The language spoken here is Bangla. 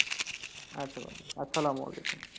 আচ্ছা বন্ধু আসসালামু আলাইকুম।